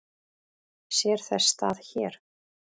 Sér þess stað hér?